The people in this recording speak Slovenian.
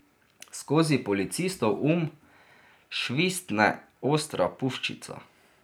Skozi Policistov um švistne ostra puščica.